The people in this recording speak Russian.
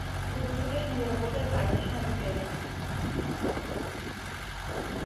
круглосуточно ли работает прачечная в отеле